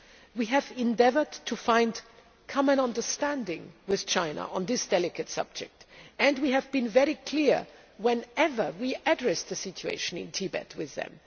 We have endeavoured to find common understanding with China on this delicate subject, and we have been very clear whenever we have addressed the situation in Tibet with them.